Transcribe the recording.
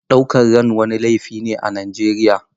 Ɗaukar ran wani laifi ne a Najeriya.